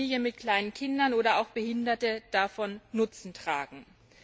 Familien mit kleinen Kindern oder auch Behinderte daraus Nutzen ziehen.